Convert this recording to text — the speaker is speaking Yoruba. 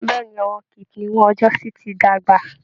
Bẹ́ẹ̀ ni, àwọn kipniún ọjọ́sí ti dàgbà